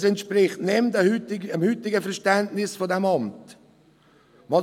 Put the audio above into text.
Dies entspricht nicht mehr dem heutigen Verständnis dieses Amts.